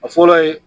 A fɔlɔ ye